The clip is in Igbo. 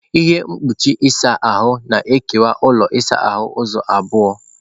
Ihe mkpuchi ịsa ahụ na-ekewa ụlọ ịsa ahụ ụzọ abụọ.